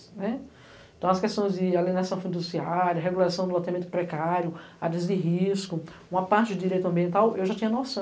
né. Então, as questões de alienação fundiciária, regulação do loteamento precário, áreas de risco, uma parte de direito ambiental, eu já tinha noção.